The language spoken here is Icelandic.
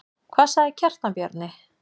Hvað sagði Kjartan Bjarni?